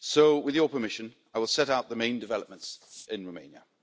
With your permission, I will set out the main developments in Romania.